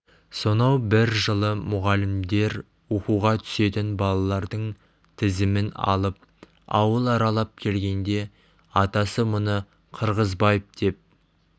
сонау бір жылы мұғалімдер оқуға түсетін балалардың тізімін алып ауыл аралап келгенде атасы мұны қырғызбаев деп